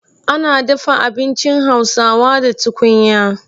Ana dafa abinci Hausawa da tukunya.